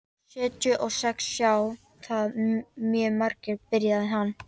Sjötíu og sex sjá það mjög margir, byrjaði hann.